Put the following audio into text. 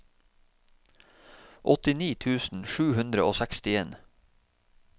åttini tusen sju hundre og sekstien